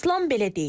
İslam belə deyir.